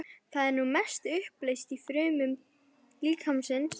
Það er að mestu uppleyst í frumum líkamans.